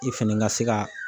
I fɛnɛ ka se ka